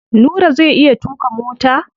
Nura zai iya tuƙa mota?